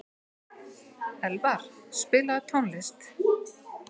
Elvar, spilaðu tónlist.